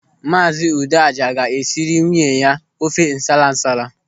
Maazi Udeaja ga-esiri nwunye ya ofe nsala nsala.